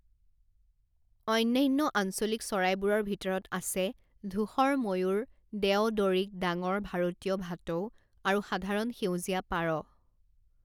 অন্যান্য আঞ্চলিক চৰাইবোৰৰ ভিতৰত আছে ধূসৰ ময়ূৰ দেও ডঁৰিক ডাঙৰ ভাৰতীয় ভাটৌ আৰু সাধাৰণ সেউজীয়া পাৰ।